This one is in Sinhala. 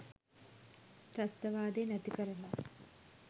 ත්‍රස්තවාදය නැතිකරලා